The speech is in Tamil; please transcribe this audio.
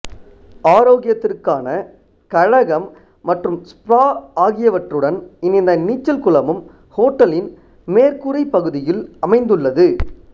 ஆரோக்கியத்திற்கான கழகம் மற்றும் ஸ்பா ஆகியவற்றுடன் இணைந்த நீச்சல் குளமும் ஹோட்டலின் மேற்கூரைப் பகுதியில் அமைந்துள்ளது